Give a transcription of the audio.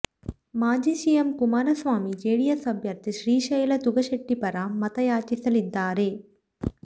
ಮಾಜಿ CM Kumaraswamy JDS ಅಭ್ಯರ್ಥಿ ಶ್ರೀಶೈಲ ತುಗಶೆಟ್ಟಿ ಪರ ಮತಯಾಚಿಸಲಿದ್ದಾರೆ